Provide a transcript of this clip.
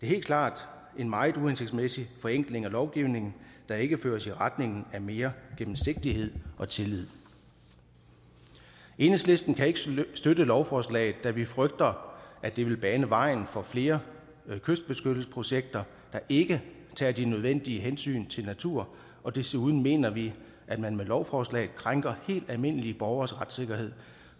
helt klart en meget uhensigtsmæssig forenkling af lovgivningen der ikke fører i retning af mere gennemsigtighed og tillid enhedslisten kan ikke støtte lovforslaget da vi frygter at det vil bane vejen for flere kystbeskyttelsesprojekter der ikke tager de nødvendige hensyn til natur og desuden mener vi at man med lovforslaget krænker helt almindelige borgeres retssikkerhed